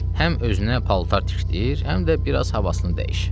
Həm özünə paltar tikdir, həm də biraz havasını dəyiş.